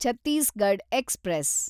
Chhattisgarh express